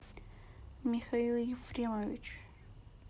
михаил ефремович